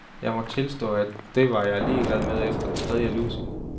Jeg må tilstå, at det var jeg ligeglad med efter den tredje lussing.